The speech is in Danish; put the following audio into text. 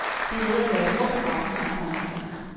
Det er ved at være et hårdt program, hun har foran sig.